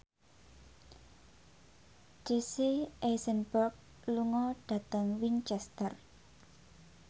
Jesse Eisenberg lunga dhateng Winchester